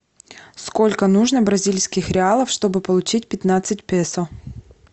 сколько нужно бразильских реалов чтобы получить пятнадцать песо